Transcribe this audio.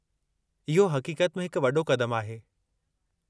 इहो हक़ीक़त में हिकु वॾो क़दमु आहे।